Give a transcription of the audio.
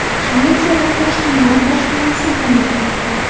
Shvetsiyada qochqinlar boshpanasi yonib ketdi.